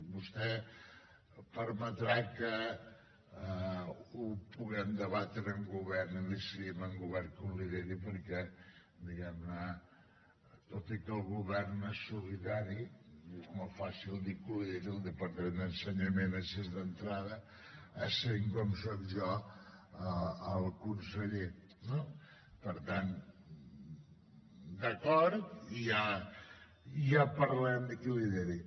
vostè em permetrà que ho puguem debatre en govern i ho decidim en govern qui ho lideri perquè diguem ne tot i que el govern és solidari és molt fàcil dir que ho lideri el departament d’ensenyament així d’entrada essent com soc jo el conseller no per tant d’acord i ja parlarem de qui ho lideri